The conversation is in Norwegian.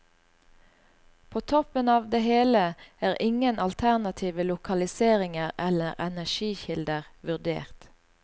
På toppen av det hele er ingen alternative lokaliseringer eller energikilder vurdert.